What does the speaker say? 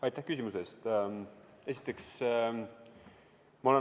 Aitäh küsimuse eest!